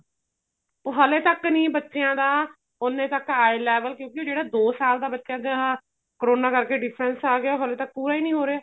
ਉਹ ਹਲੇ ਤੱਕ ਨੀ ਬੱਚਿਆਂ ਦਾ ਉੰਨੇ ਤੱਕ eye level ਕਿਉਂਕਿ ਉਹ ਜਿਹੜਾ ਦੋ ਸਾਲ ਦਾ ਬੱਚਾ ਜਾਂ ਕਰੋਨਾ ਕਰ ਕੇ difference ਆ ਗਿਆ ਹਲੇ ਤੱਕ ਪੂਰਾ ਈ ਨੀ ਹੋ ਰਿਹਾ